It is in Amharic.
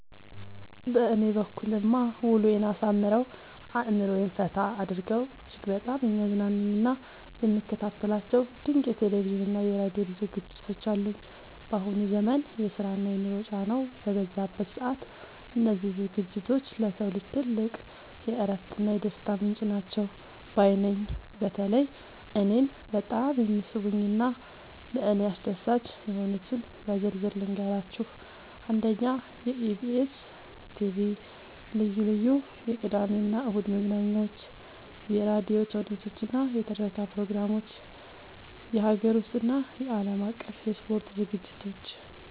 በእኔ በኩልማ ውሎዬን አሳምረው፣ አእምሮዬን ፈታ አድርገው እጅግ በጣም የሚያዝናኑኝና የምከታተላቸው ድንቅ የቴሌቪዥንና የራዲዮ ዝግጅቶች አሉኝ! ባሁኑ ዘመን የስራና የኑሮ ጫናው በበዛበት ሰዓት፣ እነዚህ ዝግጅቶች ለሰው ልጅ ትልቅ የእረፍትና የደስታ ምንጭ ናቸው ባይ ነኝ። በተለይ እኔን በጣም የሚስቡኝንና ለእኔ አስደሳች የሆኑትን በዝርዝር ልንገራችሁ፦ 1. የኢቢኤስ (EBS TV) ልዩ ልዩ የቅዳሜና እሁድ መዝናኛዎች 2. የራዲዮ ተውኔቶችና የትረካ ፕሮግራሞች 3. የሀገር ውስጥና የዓለም አቀፍ የስፖርት ዝግጅቶች